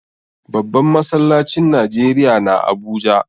Babban masallacin Najeriya na Abuja.